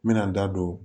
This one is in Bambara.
N bɛna n da don